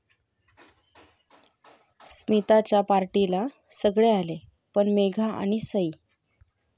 स्मिताच्या पार्टीला सगळे आले, पण मेघा आणि सई...